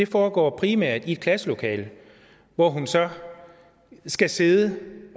foregår primært i et klasselokale hvor hun så skal sidde